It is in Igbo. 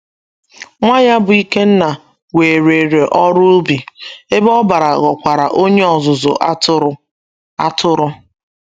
Nwa ya bụ́ Ikenna werere ọrụ ubi, Ebe Obara ghọkwara onye ọzụzụ atụrụ. atụrụ.